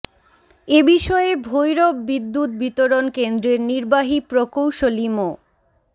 এ বিষয়ে ভৈরব বিদ্যুৎ বিতরণ কেন্দ্রের নির্বাহী প্রকৌশলী মো